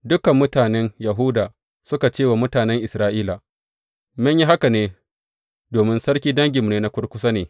Dukan mutanen Yahuda suka ce wa mutanen Isra’ila, Mun yi haka domin sarki danginmu na kurkusa ne.